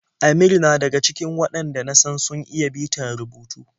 Amir na daga cikin waɗanda na san sun iya bitar rubutu.